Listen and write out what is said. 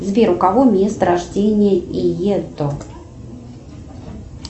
сбер у кого место рождения иетто